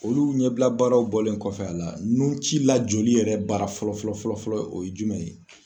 Olu ɲɛbila baaraw bɔlen kɔfɛ a la nunci lajɔli yɛrɛ baara fɔlɔ fɔlɔ fɔlɔ fɔlɔ o ye jumɛn ye?